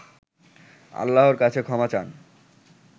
আল্লাহর কাছে ক্ষমা চান